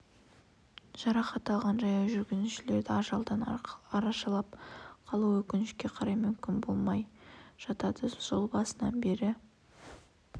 жарақат алған жаяу жүргіншілерді ажалдан арашалап қалу өкінішке қарай мүмкін болмай жатады жыл басынан бері